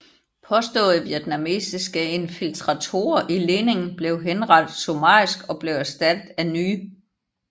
Påståede vietnamesiske infiltratorer i ledningen blev henrettet summarisk og blev erstattet af nye